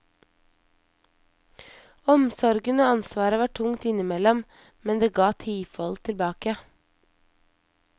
Omsorgen og ansvaret var tungt innimellom, men det ga tifold tilbake.